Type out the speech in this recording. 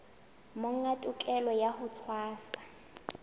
monga tokelo ya ho tshwasa